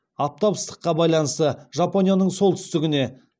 аптап ыстыққа байланысты жапонияның солтүстігіне